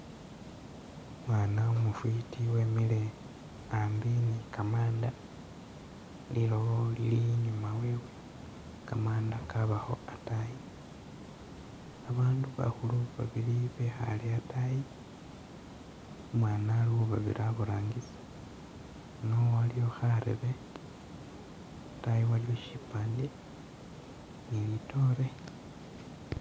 Umwaana umufwiti wemile a'ambi ni kamanda lilowo lili i'nyuma wewe kamanda kabakho a'taayi babandu bakhulu babili bekhaale a'taayi, umwaana ali khubabire a'burangisi, a'ano waliwo kharebe a'taayi waliyo shipande ni litoore